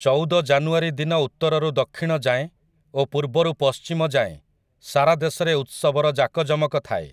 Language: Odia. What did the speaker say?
ଚଉଦ ଜାନୁଆରୀ ଦିନ ଉତ୍ତରରୁ ଦକ୍ଷିଣ ଯାଏଁ ଓ ପୂର୍ବରୁ ପଶ୍ଚିମ ଯାଏଁ ସାରା ଦେଶରେ ଉତ୍ସବର ଯାକଯମକ ଥାଏ ।